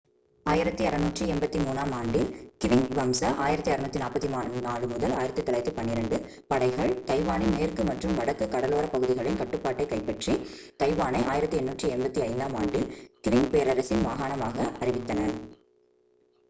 1683-ஆம் ஆண்டில் க்விங் வம்ச 1644-1912 படைகள் தைவானின் மேற்கு மற்றும் வடக்கு கடலோரப் பகுதிகளின் கட்டுப்பாட்டைக் கைப்பற்றி தைவானை 1885-ஆம் ஆண்டில் க்விங் பேரரசின் மாகாணமாக அறிவித்தன